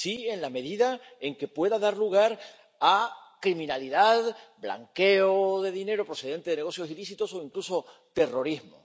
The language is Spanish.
Sí, en la medida en que pueda dar lugar a criminalidad, blanqueo de dinero procedente de negocios ilícitos o incluso terrorismo.